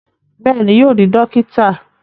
Bẹ́ẹ̀ni, yóò di dókítà